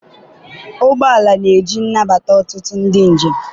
ụgbọ ala na-eji nabata ọtụtụ ndị njem.